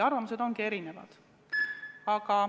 Arvamused on väga erinevad.